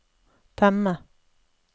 temme